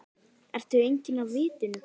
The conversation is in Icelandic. Ertu genginn af vitinu?